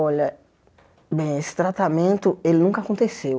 Olha, bem, esse tratamento, ele nunca aconteceu.